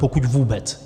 Pokud vůbec.